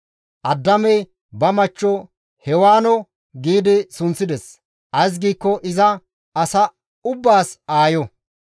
Addaamey ba machchiyo Hewaano gi sunththides; ays giikko iza asa ubbaas aayo.